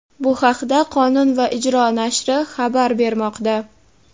Bu haqda "Qonun va ijro" nashri habar bermoqda.